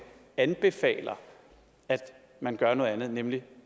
anbefaler at man gør noget andet nemlig